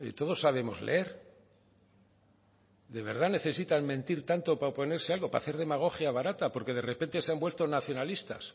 todos sabemos leer de verdad necesitan mentir tanto para oponerse algo para hacer demagogia barata porque de repente se han vuelto nacionalistas